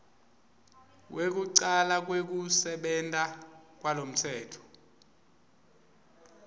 kwekucala kwekusebenta kwalomtsetfo